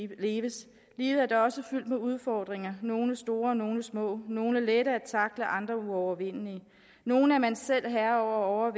leves livet er da også fyldt med udfordringer nogle store nogle små nogle er lette at tackle andre er uovervindelige nogle er man selv herre